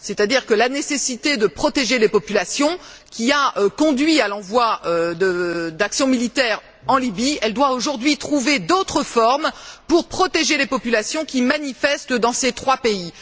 C'est à dire que la nécessité de protéger les populations, qui a conduit à l'envoi d'actions militaires en Libye, doit aujourd'hui trouver d'autres formes pour protéger les populations qui manifestent dans ces trois pays.